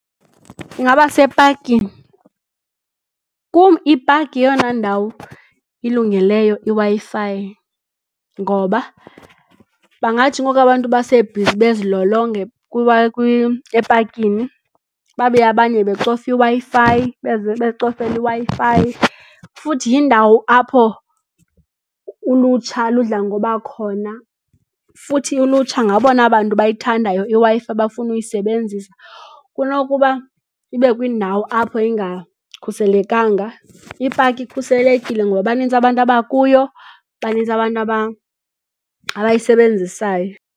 Ingaba sepakini. Kum ipaki yeyona ndawo ilungeleyo iWi-Fi ngoba bangathi ngoku abantu basebhizi bezilolonga epakini babe abanye becofa iWi-Fi bezicofela iWi-fi. Futhi yindawo apho ulutsha ludla ngoba khona, futhi ulutsha ngabona bantu bayithandayo iWi-Fi bafuna uyisebenzisa. Kunokuba ibe kwindawo apho ingakhuselekanga, ipaki ikhuselekile ngoba banintsi abantu abakuyo banintsi, abantu abayisebenzisayo.